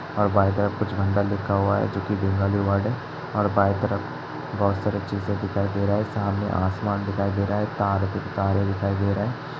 और बाएं तरफ कुछ लिखा हुआ है जो की धुंधला धुंधला है और बाएं तरफ बहुत सारी चीजे दिखाई दे रहा है। सामने आसमान दिखाई दे रहा है तार तारे दिखाई दे रहा है।